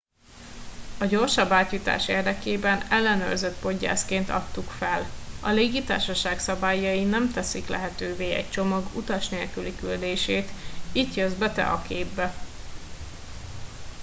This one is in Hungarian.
a gyorsabb átjutás érdekében ellenőrzött poggyászként adtuk fel a légitársaság szabályai nem teszik lehetővé egy csomag utas nélküli küldését itt jössz be te a képbe